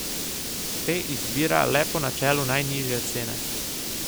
Te izbira le po načelu najnižje cene.